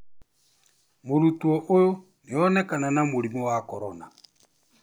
Mũrutwo ũyu nĩonekana na mũrimũ wa korona